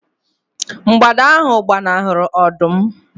mgbada ahu gbanahụrụ ọdụm